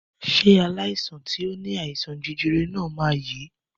Ṣé aláìsàn tí o ní àìsàn jẹjẹrẹ náà ma yèé